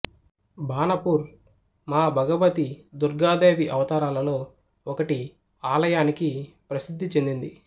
బాణపూర్ మాభగబతి దుర్గాదేవి అవతారాలలో ఒకటి ఆలయానికి ప్రసిద్ధి చెందింది